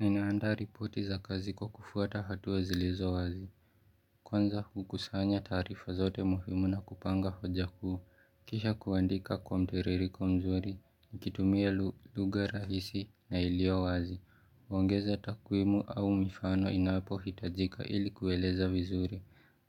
Ninaanda ripoti za kazi kwa kufwata hatua zilizo wazi. Kwanza kukusanya taarifa zote muhimu na kupanga hoja kuu. Kisha kuandika kwa mtiririko mzuri, nikitumia lugha rahisi na ilio wazi. Huongeza takwimu au mifano inapohitajika ili kueleza vizuri.